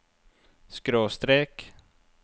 skråstrek